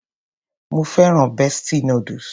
Mo féràn bestie noodles.